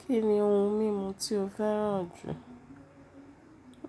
Kí ni ohun mímu tí o fẹ́ràn jù?